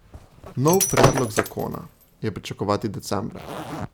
Nov predlog zakona je pričakovati decembra.